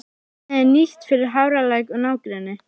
Vatnið er nýtt fyrir Hafralæk og nágrenni.